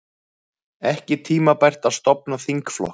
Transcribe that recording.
Ekki tímabært að stofna þingflokk